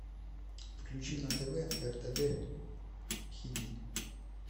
включи на тв ртд хиди